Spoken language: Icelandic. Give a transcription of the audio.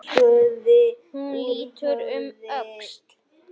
Hún lítur um öxl.